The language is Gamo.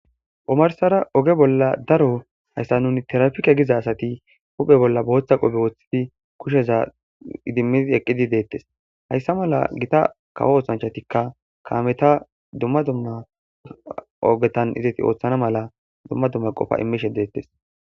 omarsara oge bolla daro hayssa nuni tirapike giza asati huphphe bolla boththa qope woththidi kusheza idimidi eqqidi deettes hayssa mala gita kawo oosanchatikka kametta dumma dumna ogetan izeti ooththana mala dumma dumma qofa imishshe detees